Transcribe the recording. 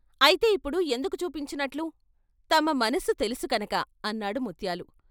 "అయితే ఇప్పుడు ఎందుకు చూపించినట్లు తమ మనసు తెలుసు కనుక "అన్నాడు ముత్యాలు.